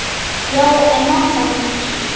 Já, en mamma hans.